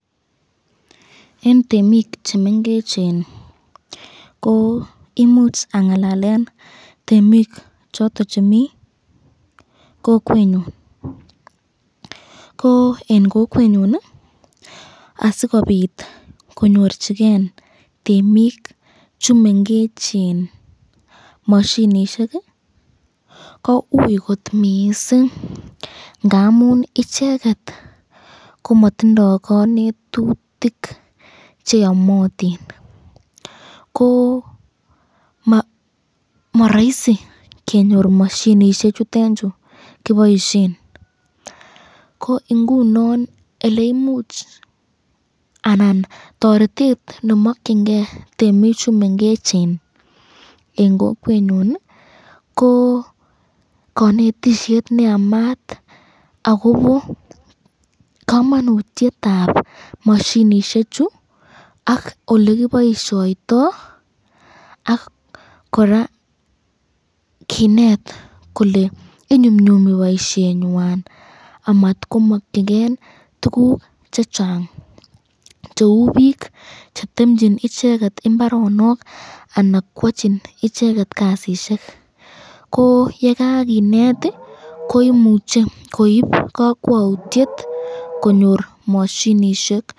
Eng temik chemengecheni ko imuch angalalen temik choton chemi kokwenyon, ko eng kokwenyon ko asikobit konyorchiken temik chumengechen mashinishek, ko ui kot mising , ngamun icheket komatindo kanetutik cheamatin ,ko maraisi kenyor mashinishek chekiboisyen nemakyinken temik chumengechen eng kokwenyon ko kanetisyet neamat akobo kamanutyetab mashinishek chu ak olekiboisyoito ak koraa kinet kole inyumnyumi boisyenywan amatkomakyiken tukuk cheng cheu bik chetemchin icheket imbaronok anan kwachin icheket kasisyek, ko yekakinet ko imuche koib kakwautyet konyor mashinishek.